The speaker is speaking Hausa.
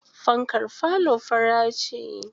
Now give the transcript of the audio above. Fankar falo fara ce.